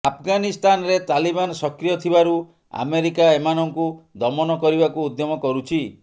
ଆଫଗାନିସ୍ତାନରେ ତାଲିବାନ ସକ୍ରିୟ ଥିବାରୁ ଆମେରିକା ଏମାନଙ୍କୁ ଦମନ କରିବାକୁ ଉଦ୍ୟମ କରୁଛି